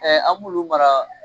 an b'olu mara